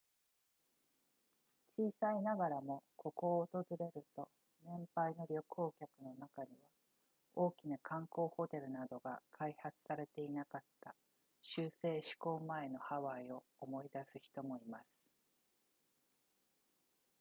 小さいながらもここを訪れると年配の旅行客の中には大きな観光ホテルなどが開発されていなかった州制施行前のハワイを思い出す人もいます